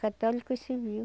Católico civil.